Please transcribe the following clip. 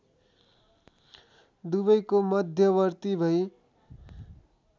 दुबैको मध्यवर्ती भई